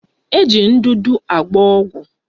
Eji ndụdụ agba ọgwụ